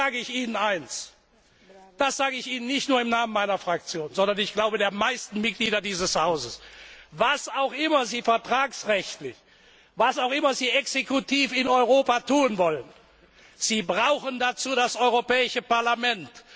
Und jetzt sage ich Ihnen eines, das sage ich Ihnen nicht nur im Namen meiner Fraktion, sondern ich glaube, im Namen der meisten Mitglieder dieses Hauses Was auch immer Sie vertragsrechtlich, was auch immer Sie exekutiv in Europa tun wollen, Sie brauchen dazu das Europäische